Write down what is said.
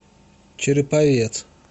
череповец